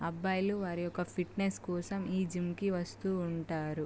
అబ్బాయే లు వారి ఫిట్నెస్ కోసం జిం కి వాస్తు ఉంటారు.